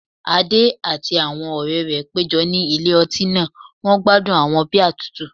Adé àti àwọn ọ̀rẹ́ rẹ̀ péjọ ní ilé ọtí náà wọ́n gbádùn àwọn bíà tútù